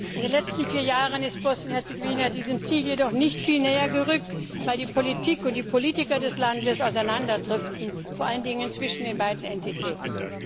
In den letzten vier Jahren ist Bosnien und Herzegowina diesem Ziel jedoch nicht viel näher gerückt, weil die Politik und die Politiker des Landes auseinanderdriften, vor allem zwischen den beiden Entitäten.